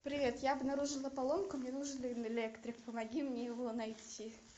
привет я обнаружила поломку мне нужен электрик помоги мне его найти